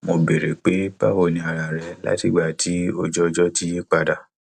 mo béèrè pé báwo ni ara rẹ látìgbà tí ojúọjọ ti yí padà